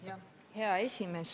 Hea esimees!